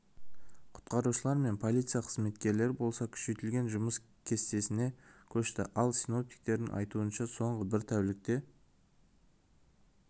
құтқарушылар мен полиция қызметкерлері болса күшейтілген жұмыс кестесіне көшті ал синоптиктердің айтуынша соңғы бір тәулікте